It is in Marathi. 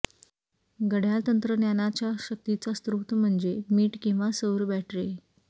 घड्याळ तंत्रज्ञानाच्या शक्तीचा स्त्रोत म्हणजे मीठ किंवा सौर बॅटरी